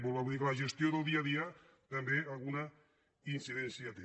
per tant vull dir que la gestió del dia a dia també alguna incidència hi té